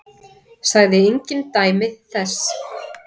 Sagði engin dæmi þess.